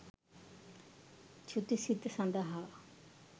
චුති සිත සඳහා